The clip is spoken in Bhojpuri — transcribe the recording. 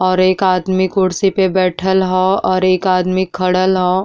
और एक आदमी कुर्सी पे बैठल ह और एक आदमी खडल ह।